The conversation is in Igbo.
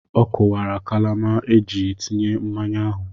Ọ kụwara kalama eji tinye mmanya ahụ.